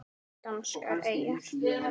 Danskar eyjar